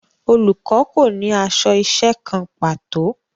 Olùkọ́ kò ní aṣọ iṣẹ́ kan pàtó